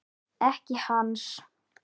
Ekki hans.